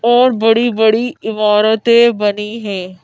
और बड़ी बड़ी इमारतें बनी है।